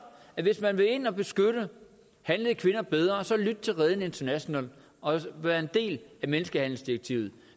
at hvis man vil ind og beskytte handlede kvinder bedre så lyt til reden international og vær en del af menneskehandelsdirektivet